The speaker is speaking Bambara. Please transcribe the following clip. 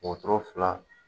Wotoro fila